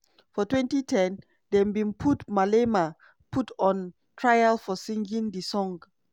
for 2010 dem bin put malema put on trial for singing di song.